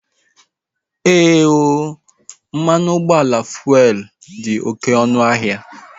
Ee ooo, mmanụ ụgbọala fuelu dị oké ọnụ ahịa